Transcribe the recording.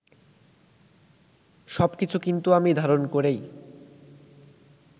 সবকিছু কিন্তু আমি ধারণ করেই